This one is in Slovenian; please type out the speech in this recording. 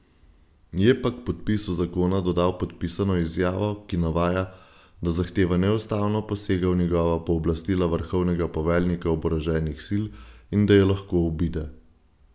Je pa k podpisu zakona dodal podpisano izjavo, ki navaja, da zahteva neustavno posega v njegova pooblastila vrhovnega poveljnika oboroženih sil in da jo lahko obide.